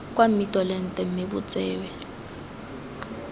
kwa mmitolente mme bo tsewe